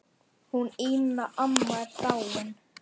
Hún Ína amma er dáin.